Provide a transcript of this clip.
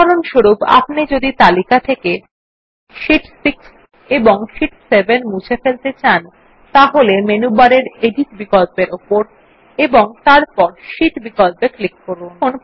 উদাহরণস্বরূপ যদি আপনি তালিকা থেকে শীট 6 ও শীট 7 মুছে ফেলতে চান তাহলে মেনু বারের এডিট বিকল্পর উপর এবং তারপর শীট বিকল্পত়ে ক্লিক করুন